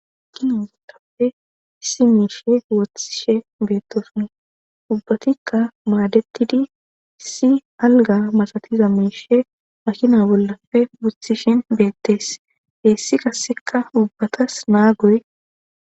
akinazetappe si miishe wothishe beettosun ubbatikka maadetidi si alga masatiza miishe makina bollafe buthishin beettees heessi qasseka ubbatas naa goye